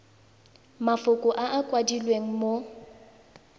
mafoko a a kwadilweng mo